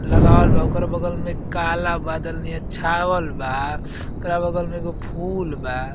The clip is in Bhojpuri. लगावल बा। ओकरा बगल में काला बादल नियर छावल बा। ओकरा बगल में एगो फूल बा।